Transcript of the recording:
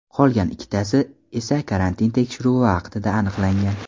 Qolgan ikkitasi esa karantin tekshiruvi vaqtida aniqlangan.